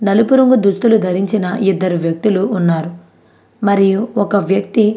నలుపు రంగు దుస్తులు ధరించిన ఇద్దరు వ్యక్తులు ఉన్నారు మరియు ఒక వ్యక్తి --